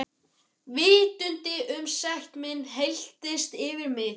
Vitundin um sekt mína helltist yfir mig.